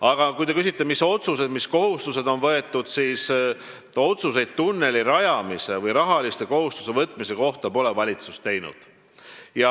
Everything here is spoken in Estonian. Aga kui te küsite, mis otsused on tehtud ja mis kohustused on võetud, siis vastan, et otsuseid tunneli rajamise või rahaliste kohustuste võtmise kohta pole valitsus teinud.